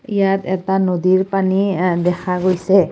ইয়াত এটা নদীৰ পানী এ দেখা গৈছে।